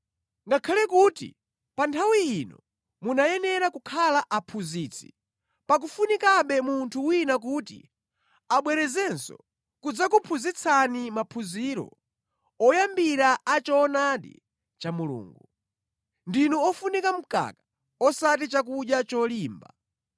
Ngakhale kuti pa nthawi ino munayenera kukhala aphunzitsi, pakufunikabe munthu wina kuti abwerezenso kudzakuphunzitsani maphunziro oyambira a choonadi cha Mulungu. Ndinu ofunika mkaka osati chakudya cholimba!